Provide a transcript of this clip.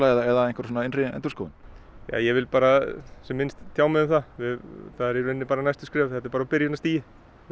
eða einhverja innri endurskoðun ég vil sem minnst tjá mig um það það eru í raun bara næstu skref þetta er bara á byrjunarstigi